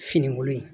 Finikolo in